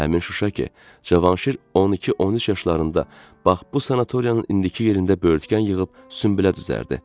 Həmin Şuşa ki, Cavanşir 12-13 yaşlarında bax bu sanatoriyanın indiki yerində böyürtkən yığıb sünbülə düzərdi.